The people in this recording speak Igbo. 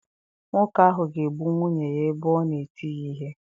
Nwoke ahụ ga-egbu nwunye ya ebe ọ na-eti ya ihe.